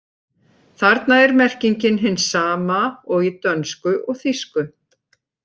Þarna er merkingin hin sama og í dönsku og þýsku.